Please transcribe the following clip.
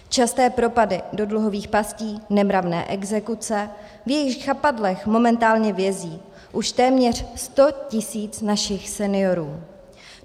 Časté propady do dluhových pastí, nemravné exekuce, v jejichž chapadlech momentálně vězí už téměř 100 tisíc našich seniorů.